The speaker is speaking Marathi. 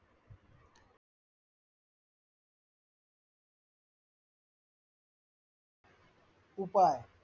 उपाय